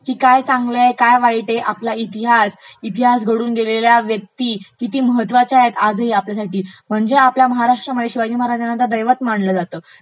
काय चांगल आहे काय वाईट आहे, आपला इतिहास, इतिहास घडवून गेलेल्या व्यक्ती किती महत्त्वाच्या आहेत आजही आपल्यासाठी, म्हणजे आपल्यासाठी म्हणजे महाराष्ट्रामध्ये शिवाजी महाराजांना तर दैवत मानलं जातं.